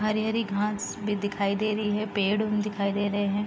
हरी हरी घास भी दिखाई दे रही है पेड़ भी दिखाई दे रहे हैं |